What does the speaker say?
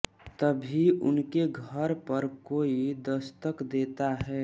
तभी उनके घर पर कोई दस्तक देता है